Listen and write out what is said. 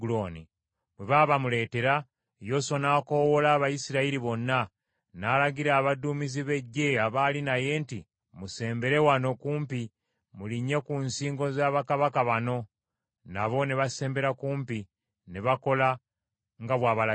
Bwe baabamuleetera, Yoswa n’akoowoola Abayisirayiri bonna, n’alagira abaduumizi b’eggye abaali naye nti, “Musembere wano kumpi, mulinnye ku nsingo za bakabaka bano.” Nabo ne basembera kumpi ne bakola nga bw’abalagidde.